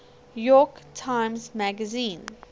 york times magazine